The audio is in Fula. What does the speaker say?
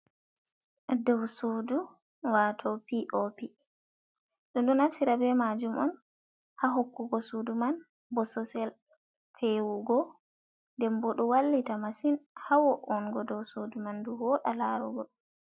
Dow suudu wato pop, ɗo ɗum naftira ɓe majum on ha hokkugo suudu man bososel fewugo, nden ɓo ɗo wallita masin hawoungo dow suudu man ndu woda larugo.